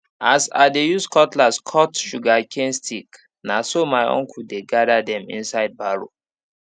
as i dey use cutlass cut sugarcane stick na so my uncle dey gather them inside barrow